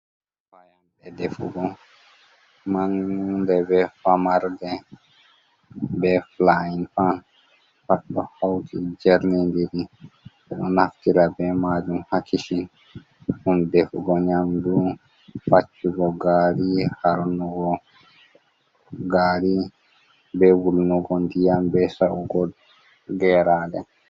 Fayannde defugo, mawnde be famarde, be fulaayin pan, pat ɗo hawti jernindiri. Ɓe ɗo naftira be maajum haa kicin, ɗum defugo nyamdu, faccugo gaari, harnugo gaari, be wulnugo ndiyam, be sa'ugo geeraaɗe.